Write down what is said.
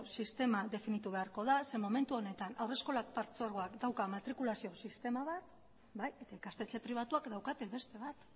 sistema definituko beharko da zeren eta momentu honetan haurreskola partzuergoak dauka matrikulazio sistema bat eta ikastetxe pribatuek daukate beste bat